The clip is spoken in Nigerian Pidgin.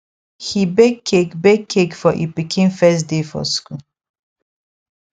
he bake cake bake cake for e pikin first day for school